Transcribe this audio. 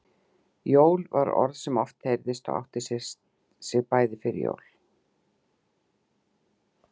Jól var orð sem oft heyrðist og átti sér bæði fyrir jól